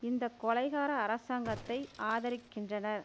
இந்த கொலைகார அரசாங்கத்தை ஆதரிக்கின்றனர்